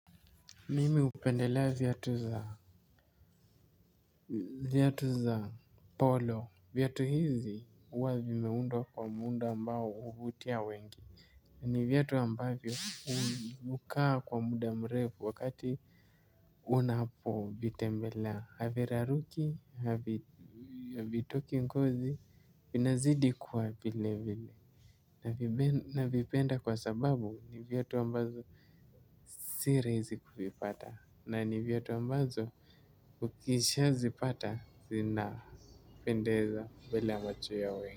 Mimi hupendelea viatu za polo. Viatu hizi huwa vimeundwa kwa muundo ambao huvutia wengi. Ni viatu ambavyo hukaa kwa muda mrefu wakati unapo vitembelea. Haviraruki havitoki ngozi vinazidi kuwa vile vile. Navipenda kwa sababu ni viatu ambazo si rahisi kuvipata. Na ni vyatu ambazo. Ukisha zipata zina pendeza mbela ya macho ya.